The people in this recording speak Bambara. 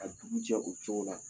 Ka dugu jɛ o cogo la.